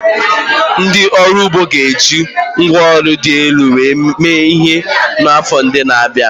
Ndị ọrụ ugbo ga-eji ngwá ọrụ dị elu mee ihe n'afọ ndị na-abịa.